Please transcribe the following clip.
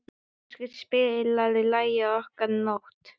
Áskell, spilaðu lagið „Okkar nótt“.